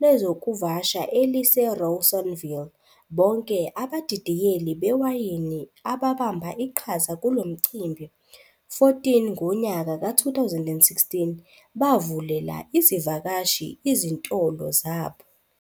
lezokuvasha elise Rawsonville. Bonke abadidiyeli bewayini ababamba iqhaza kulomncimbi, 14 ngonyaka ka 2016, bavulela izivakashi izintolo zabo.